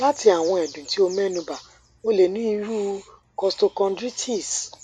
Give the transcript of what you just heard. lati awọn ẹdun ti o mẹnuba o le ni iru costochondritis